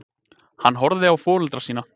Hann horfði á foreldra sína.